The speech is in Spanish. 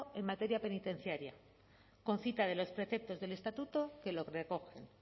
en materia penitenciaria con cita de los preceptos del estatuto que lo recogen